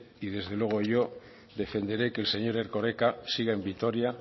y desde luego yo defenderé que el señor erkoreka siga en vitoria